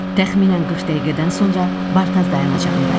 Təxminən 40 dəqiqədən sonra Bartaz dayanacağındayıq.